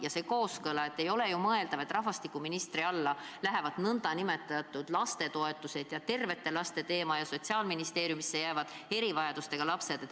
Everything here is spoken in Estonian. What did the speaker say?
Ja kaob ka kooskõla – ei ole ju mõeldav, et rahvastikuministri alla lähevad lastetoetused ja muud n-ö tervete laste teemad ning Sotsiaalministeeriumi mureks jäävad erivajadustega lapsed.